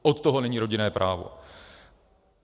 Od toho není rodinné právo.